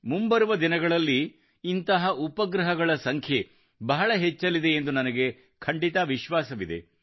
ಮುಂಬರುವ ದಿನಗಳಲ್ಲಿ ಇಂತಹ ಉಪಗ್ರಹಗಳ ಸಂಖ್ಯೆ ಬಹಳ ಹೆಚ್ಚಲಿದೆ ಎಂದು ನನಗೆ ಖಂಡಿತ ವಿಶ್ವಾಸವಿದೆ